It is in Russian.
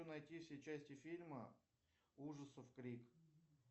найти все части фильма ужасов крик